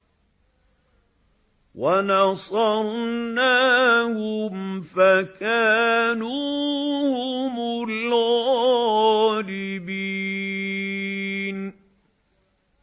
وَنَصَرْنَاهُمْ فَكَانُوا هُمُ الْغَالِبِينَ